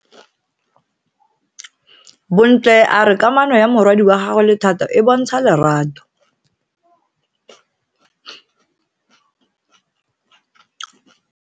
Bontle a re kamano ya morwadi wa gagwe le Thato e bontsha lerato.